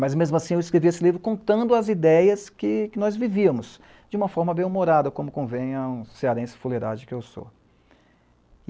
Mas, mesmo assim, eu escrevi esse livro contando as ideias que nós vivíamos, de uma forma bem humorada, como convém a cearense fuleirade que eu sou.